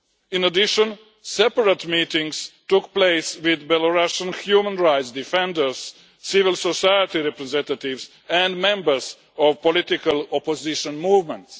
In addition, separate meetings took place with Belarussian human rights defenders, civil society representatives and members of political opposition movements.